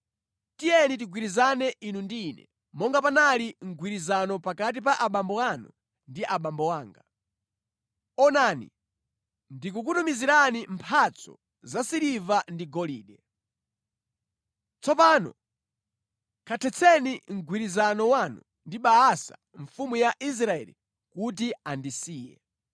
“Tiyeni tigwirizane inu ndi ine, monga panali mgwirizano pakati pa abambo anu ndi abambo anga. Onani, ndikukutumizirani mphatso za siliva ndi golide. Tsopano kathetseni mgwirizano wanu ndi Baasa mfumu ya Israeli kuti andisiye.”